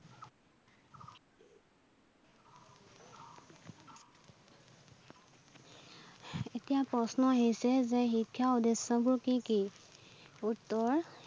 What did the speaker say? এতিয়া প্ৰশ্ন আহিছে যে শিক্ষাৰ উদ্দেশ্যবোৰ কি কি? উত্তৰ